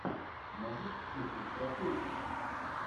можешь включить страшилку